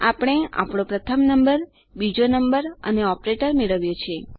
આપણે આપણો પ્રથમ નંબર બીજો નંબર અને ઓપરેટર મેળવ્યો છે